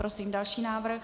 Prosím další návrh.